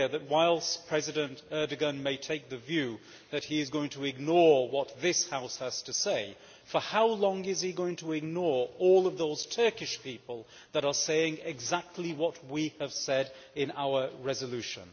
Whilst President Erdogan may take the view that he is going to ignore what this House has to say, for how long is he going to ignore all of those Turkish people that are saying exactly what we have said in our resolution?